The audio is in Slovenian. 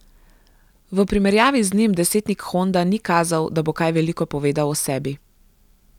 V primerjavi z njim desetnik Honda ni kazal, da bo kaj veliko povedal o sebi.